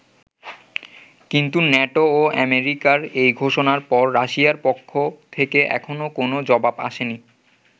কিন্তু নেটো ও অ্যামেরিকার এই ঘোষণার পর রাশিয়ার পক্ষ থেকে এখনো কোনো জবাব আসে নি।